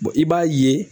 i b'a ye